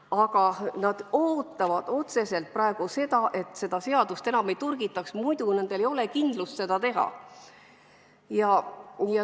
Aga nad ootavad praegu, et seda seadust enam ei torgitaks, muidu neil pole kindlust seda teha.